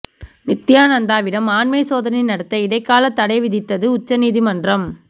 நித்யானந்தாவிடம் ஆண்மை சோதனை நடத்த இடைக்கால தடை விதித்தது உச்ச நீதிமன்றம்